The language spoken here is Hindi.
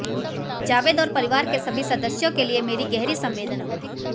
जावेद और परिवार के सभी सदस्यों के लिए मेरी गहरी संवेदना